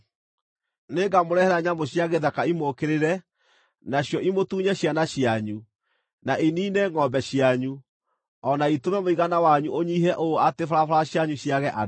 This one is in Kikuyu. Nĩngamũrehere nyamũ cia gĩthaka imũũkĩrĩre, nacio imũtunye ciana cianyu, na iniine ngʼombe cianyu, o na itũme mũigana wanyu ũnyiihe ũũ atĩ barabara cianyu ciage andũ.